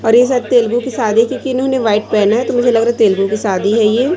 और ये सब तेलुगू की शादी की थी इन्होंने व्हाइट पेहना है तो मुझे लगा रहा है तेलुगू की शादी है ये --